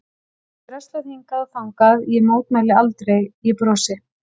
Mér er dröslað hingað og þangað, ég mótmæli aldrei, ég brosi.